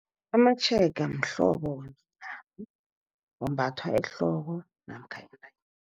Amatjhega mhlobo ombathwa ehloko namkha entanyeni.